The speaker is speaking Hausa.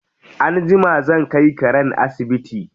Anjima zan kai karen asibiti.